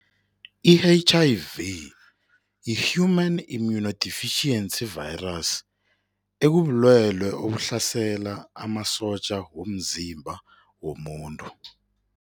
I-H_I_V yi-Human Immunodeficiency Virus, ekubulwelwe obuhlasela amasotja womzimba womuntu.